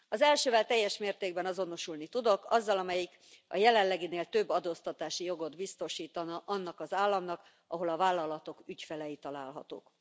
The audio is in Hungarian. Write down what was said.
Az elsővel teljes mértékben azonosulni tudok, azzal, amelyik a jelenleginél több adóztatási jogot biztosítana annak az államnak, ahol a vállalatok ügyfelei találhatók.